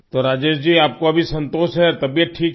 तो राजेश जी आप को अभी संतोष है तबीयत ठीक है